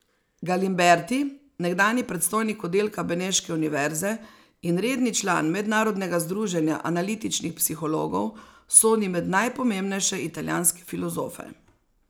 Galimberti, nekdanji predstojnik oddelka beneške univerze in redni član Mednarodnega združenja analitičnih psihologov, sodi med najpomembnejše italijanske filozofe.